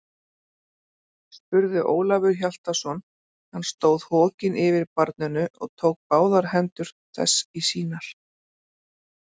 spurði Ólafur Hjaltason, hann stóð hokinn yfir barninu og tók báðar hendur þess í sínar.